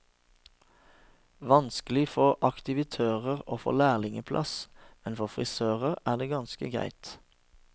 Vanskelig for aktivitører å få lærlingeplass, men for frisører er det ganske greit.